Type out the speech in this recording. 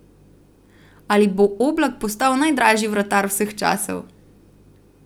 Ali bo Oblak postal najdražji vratar vseh časov?